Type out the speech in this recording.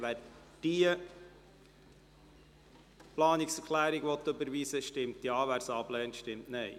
Wer diese Planungserklärung überweisen möchte, stimmt Ja, wer dies ablehnt, stimmt Nein.